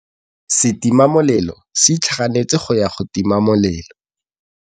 Setima molelô se itlhaganêtse go ya go tima molelô.